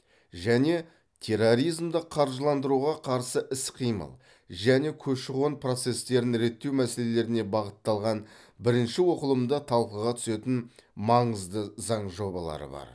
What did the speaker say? және терроризмді қаржыландыруға қарсы іс қимыл және көші қон процестерін реттеу мәселелеріне бағытталған бірінші оқылымда талқыға түсетін маңызды заң жобалары бар